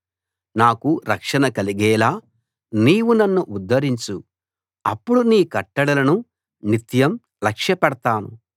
నాకు రక్షణ కలిగేలా నీవు నన్ను ఉద్ధరించు అప్పుడు నీ కట్టడలను నిత్యం లక్ష్యపెడతాను